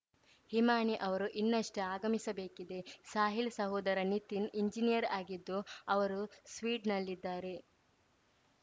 ಹಿಮಾನಿ ಅವರು ಇನ್ನಷ್ಟೇ ಆಗಮಿಸಬೇಕಿದೆ ಸಾಹಿಲ್‌ ಸಹೋದರ ನಿತಿನ್‌ ಎಂಜಿನಿಯರ್‌ ಆಗಿದ್ದು ಅವರು ಸ್ವೀಡ್ ನಲ್ಲಿದ್ದಾರೆ